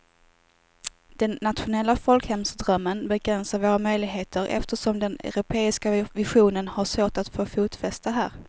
Den nationella folkhemsdrömmen begränsar våra möjligheter eftersom den europeiska visionen har svårt att få fotfäste här.